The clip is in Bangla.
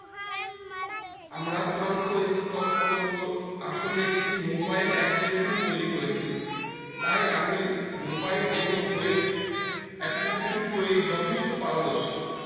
আমরা চূড়ান্ত স্কল্প প্রকল্পে আসলে একটি mobile application তৈরি করেছি তাই আমি mobile এবং web application তৈরির যথেষ্ট পারদশী